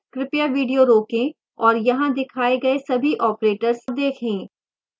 कृपया video रोकें और यहाँ दिए गए सभी operators देखें